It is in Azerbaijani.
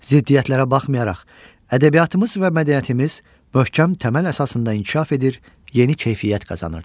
Ziddiyyətlərə baxmayaraq, ədəbiyyatımız və mədəniyyətimiz möhkəm təməl əsasında inkişaf edir, yeni keyfiyyət qazanırdı.